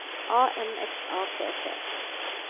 A N S A T T